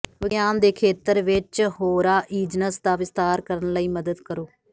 ਵਿਗਿਆਨ ਦੇ ਖੇਤਰ ਵਿਚ ਹੋਰਾਈਜ਼ਨਜ਼ ਦਾ ਵਿਸਥਾਰ ਕਰਨ ਲਈ ਮਦਦ ਕਰੋ